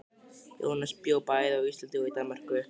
Jónas bjó bæði á Íslandi og í Danmörku.